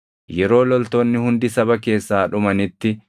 Yeroo loltoonni hundi saba keessaa dhumanitti,